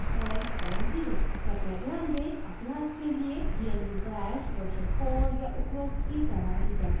कृपया ध्यान दें अभ्यास के लिए gnu bash version 4 या उपरोक्त की सलाह दी जाती है